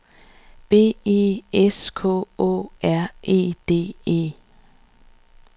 B E S K Å R E D E